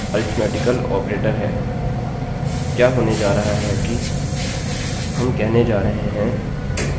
अतः यह भी एक अरिथ्मेटिकल ऑपरेटर है क्या होने जा रहा है कि